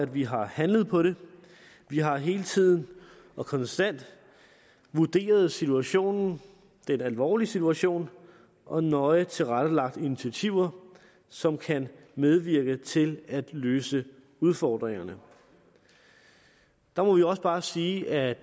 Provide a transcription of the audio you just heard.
vi har handlet på det vi har hele tiden konstant vurderet situationen det er en alvorlig situation og nøje tilrettelagt initiativer som kan medvirke til at løse udfordringerne der må vi også bare sige at